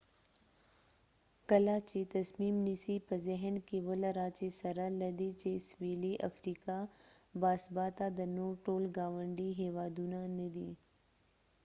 کله چې تصمیم نیسې په ذهن کې ولره چې سره لدې چې سویلي افریقا باثباته ده نور ټول ګاونډي هیوادونه نه دي